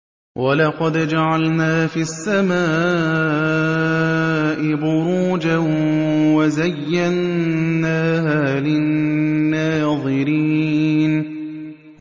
وَلَقَدْ جَعَلْنَا فِي السَّمَاءِ بُرُوجًا وَزَيَّنَّاهَا لِلنَّاظِرِينَ